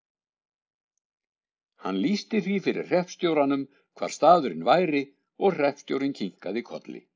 Hann lýsti því fyrir hreppstjóranum hvar staðurinn væri og hreppstjórinn kinkaði kolli.